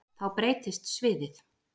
Þá breytist sviðið.